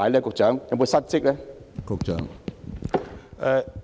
局長有否失職呢？